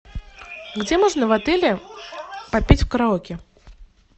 где можно в отеле попеть в караоке